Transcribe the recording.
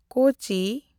ᱠᱳᱪᱤ